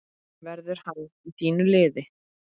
Verður hann í þínu liði?